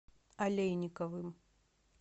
олейниковым